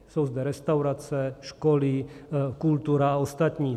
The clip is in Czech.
Jsou zde restaurace, školy, kultura a ostatní.